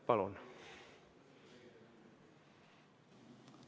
Palun!